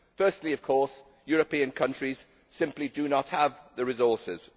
Firstly of course, European countries simply do not have the resources.